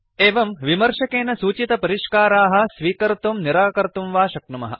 एवं विमर्शकेन सूचितपरिष्काराः स्वीकर्तुं निराकर्तुं वा शक्नुमः